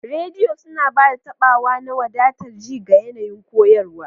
Rediyo suna ba da taɓawa na wadatar ji ga yanayin koyarwa.